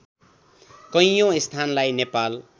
कैयौँ स्थानलाई नेपाल